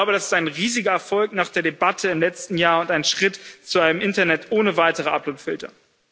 Und ich glaube, das ist ein riesiger Erfolg nach der Debatte im letzten Jahr und ein Schritt zu einem Internet ohne weitere Uploadfilter.